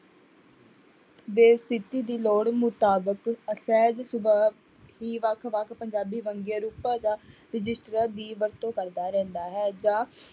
ਲੋੜ ਮੁਤਾਬਿਕ ਸਹਿਜ ਸੁਭਾਅ ਹੀ ਵੱਖ ਵੱਖ ਪੰਜਾਬੀ ਵੰਨਗੀਆਂ ਰੂਪਾਂ ਦਾ ਦੀ ਵਰਤੋਂ ਕਰਦਾ ਰਹਿੰਦਾ ਹੈ ਜਾਂ